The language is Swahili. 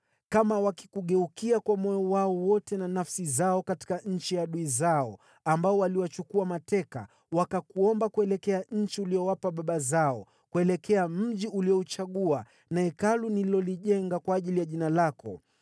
kama wakikugeukia kwa moyo wao wote na nafsi zao katika nchi ya adui zao ambao waliwachukua mateka, wakakuomba kuelekea nchi uliyowapa baba zao, kuelekea mji uliouchagua na Hekalu nililolijenga kwa ajili ya Jina lako;